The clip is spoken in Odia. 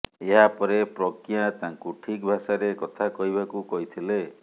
ଏହା ପରେ ପ୍ରଜ୍ଞା ତାଙ୍କୁ ଠିକ୍ ଭାଷାରେ କଥା କହିବାକୁ କହିଥିଲେ